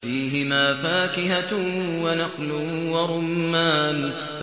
فِيهِمَا فَاكِهَةٌ وَنَخْلٌ وَرُمَّانٌ